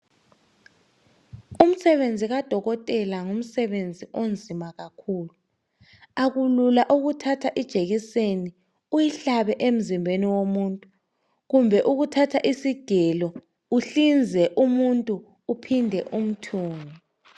Umsebenzi kadokotela ngumsebenzi onzima kakhulu. Akulula ukuthatha ijekiseni uyihlabe emzimbeni womuntu kumbe ukuthatha isigelo uhlinze umuntu ubuyele umthunge